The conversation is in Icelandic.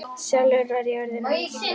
Sjálfur var ég orðinn ansi kaldur.